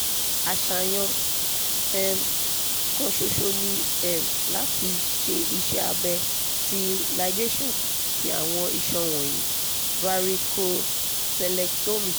aṣayan um kan ṣoṣo ni um lati ṣe iṣẹ abẹ ti ligation ti awọn iṣan wọnyi (varicocelectomy)